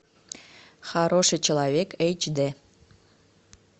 хороший человек эйч д